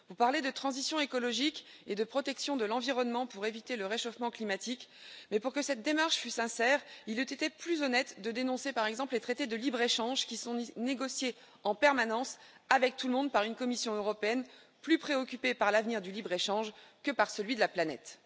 Vous parlez de transition écologique et de protection de l'environnement pour éviter le réchauffement climatique, mais pour que cette démarche fût sincère, il eût été plus honnête de dénoncer par exemple les traités de libre échange qui sont négociés en permanence avec tout le monde par une Commission européenne plus préoccupée par l'avenir du libre échange que par celui de la planète.